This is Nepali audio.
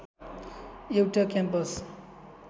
एउटा क्याम्पस